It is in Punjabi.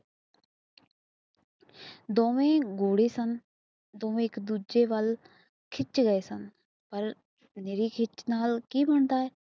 ਦੋਵੇ ਗੋਰੇ ਸਨ ਦੋਵੇ ਇੱਕ ਦੂਜੇ ਵੱਲ ਖਿੱਚ ਰਹੇ ਸਨ ਆਈ ਮਾਰੀ ਹਿਕ ਤੇ ਡਾਢਾ